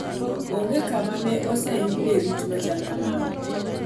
Onge kama ne oseyudie rit machal kamano.